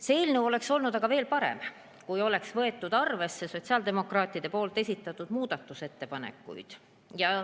See eelnõu oleks olnud aga veel parem, kui oleks võetud arvesse sotsiaaldemokraatide muudatusettepanekuid.